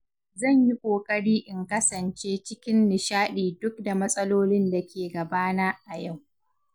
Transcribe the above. Zan yi ƙoƙari in kasance cikin nishaɗi duk da matsalolin da ke gabana a yau.